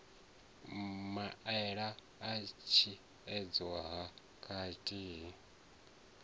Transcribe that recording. maele a tshiedziso ha kateli